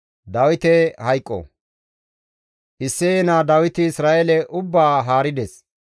Isseye naa Dawiti Isra7eele ubbaa haarides.